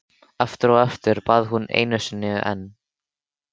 Aftur og aftur, bað hún og einu sinni enn.